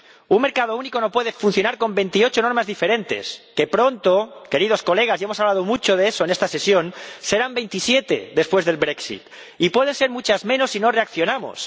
Un mercado único no puede funcionar con 28 normas diferentes que, pronto, queridos colegas, y hemos hablado mucho de eso en esta sesión, serán 27 después del brexit y pueden ser muchas menos si no reaccionamos.